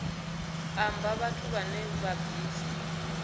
amba vhathu vhane vha bvisa